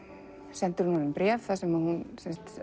sendir hún honum bréf þar sem hún